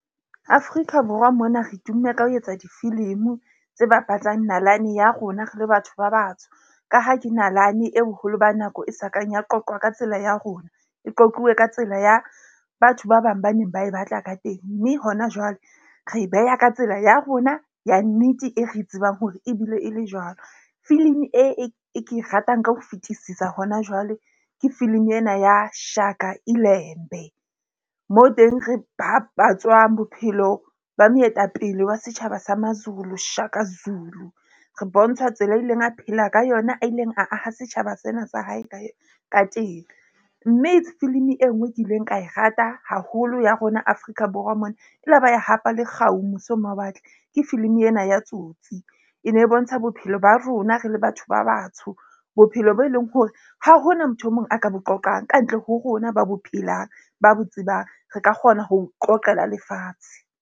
Afrika Borwa mona re tumme ka ho etsa difilimi tse bapatsang nalane ya rona, re le batho ba batsho. Ka ha ke nalane e boholo ba nako e sakang ya qoqwa ka tsela ya rona. E qoquwe ka tsela ya batho ba bang ba neng ba e batla ka teng. Mme hona jwale re e beha ka tsela ya rona ya nnete, e re tsebang hore ebile e le jwalo. Filimi e ke e ratang ka ho fetisisa hona jwale ke filimi ena ya Shaka ilembe. Moo teng re babatswang bophelo ba moetapele wa setjhaba sa maZulu, Shaka Zulu. Re bontsha tsela e a ileng a phela ka yona a ileng a aha setjhaba sena sa hae ka teng. Mme filimi e nngwe ke ileng ka e rata haholo ya rona Afrika Borwa mona e la ba ya hapa le kgau mose ho mawatle ke filimi ena ya Tsotsi. E ne e bontsha bophelo ba rona re le batho ba batsho. Bophelo bo e leng hore ha hona motho e mong a ka bo qoqang kantle ho rona, ba bo phelang, ba bo tsebang, re ka kgona ho qoqela lefatshe.